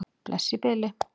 Bless í bili.